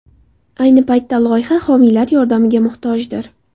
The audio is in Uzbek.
Ayni paytda loyiha homiylar yordamiga muhtojdir.